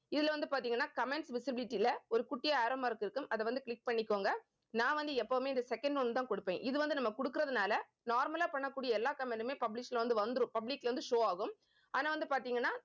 இதுல வந்து பாத்தீங்கன்னா comments visibility ல ஒரு குட்டியா arrow mark இருக்கும். அதை வந்து click பண்ணிக்கோங்க. நான் வந்து எப்பவுமே இந்த second one தான் கொடுப்பேன். இது வந்து நம்ம கொடுக்கிறதுனால normal லா பண்ணக்கூடிய எல்லா comment யுமே publish ல வந்து வந்துரும். public ல வந்து show ஆகும். ஆனா வந்து பாத்தீங்கன்னா